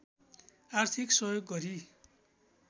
आर्थिक सहयोग गरी